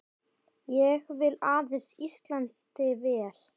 Ég vil aðeins Íslandi vel.